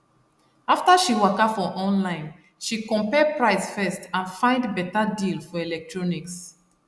after she waka for online she compare price first and find better deal for electronics